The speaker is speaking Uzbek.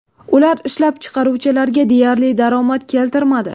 Ular ishlab chiqaruvchilarga deyarli daromad keltirmadi.